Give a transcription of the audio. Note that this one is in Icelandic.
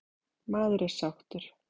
Maður er sáttur.